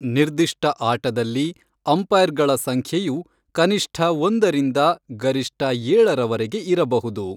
ನಿರ್ದಿಷ್ಟ ಆಟದಲ್ಲಿ ಅಂಪೈರ್ಗಳ ಸಂಖ್ಯೆಯು ಕನಿಷ್ಠ ಒಂದರಿಂದ ಗರಿಷ್ಠ ಏಳರವರೆಗೆ ಇರಬಹುದು.